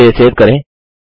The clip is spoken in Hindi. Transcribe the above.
इसे सेव करें